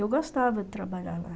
Eu gostava de trabalhar lá.